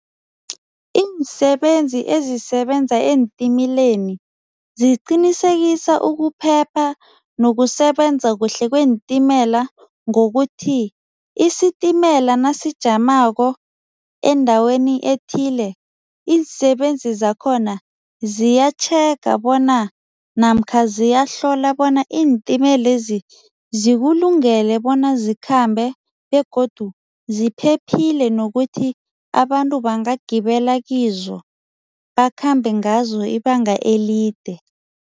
Iinsebenzi ezisebenza eentimeleni ziqinisekisa ukuphepha nokusebenza kuhle kweentimela ngokuthi, isitimela nasijamako endaweni ethile, iinsebenzi zakhona ziyatjhega bona namkha ziyahlola bona iintimelezi zikulungele bona zikhambe begodu ziphephile nokuthi abantu bangagibela kizo, bakhambe ngazo ibanga elide.